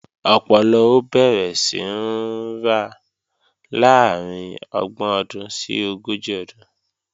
Ọpọlọ ó bẹ̀rẹ̀ sí ń ra láàrín ọgbọ̀n ọdún sí ogójì ọdún